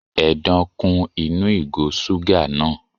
Edan kún inú ìgò suga náà.